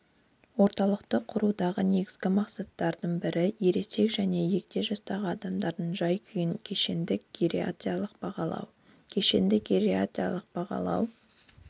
орталықты құрудағы негізгі мақсаттардың біріересек және егде жастағы адамдардың жай-күйін кешенді гериатриялық бағалау кешенді гериатриялық бағалау